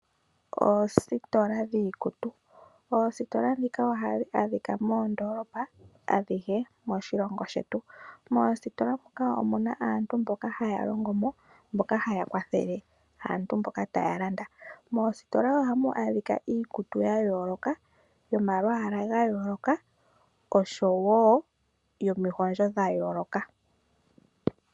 Oositola dhiikutu, oositola dhika ohadhi adhika moondoolopa adhihe moshilongo shetu. Moositola dhika omuna aantu mboka haya longo mo mboka haya kwathele aantu mboka taya landa. Moositola ohamu adhika iikutu ya yooloka, yo malwaala ga yooloka osho wo yo mihondjo dha yooloka.